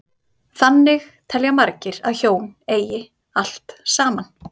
Þannig telja margir að hjón eigi allt saman.